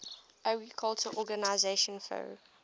agriculture organization fao